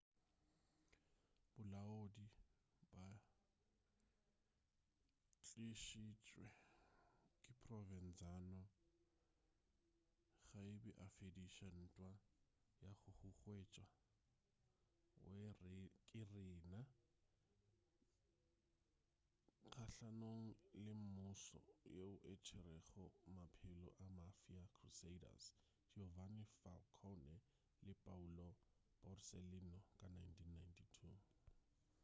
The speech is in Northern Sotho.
balaodi ba ba tlišitšwe ke provenzano ge a be afediša ntwa ya go huwetšwa ke riina kgahlanong le mmušo yeo e tšerego maphelo a mafia crusaders giovanni falcone le paolo borsellino ka 1992